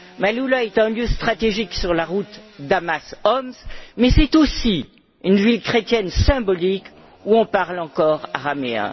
Maaloula est un lieu stratégique sur la route Damas Homs mais c'est aussi une ville chrétienne symbolique où on parle encore araméen.